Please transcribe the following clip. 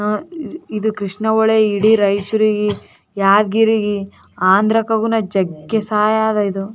ಇಲ್ಲಿ ನಾನು ನೋಡುತ್ತಿರುವ ನದಿ ತುಂಬಾ ನೀರು ಕಾಣಿಸುತ್ತಾ ಇದೆ ಹತ್ತಹತ್ತ ಮೆಟ್ಲಿಗಳು ಕಟ್ಟಿದ್ದಾರೆ ಎನೋ --